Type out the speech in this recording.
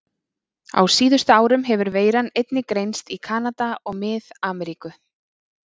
Á síðustu árum hefur veiran einnig greinst í Kanada og Mið-Ameríku.